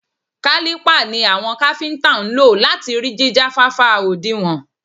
Kálípà ni àwọn káfíntà ń lò láti rí jíjáfáfá òdinwọ̀n.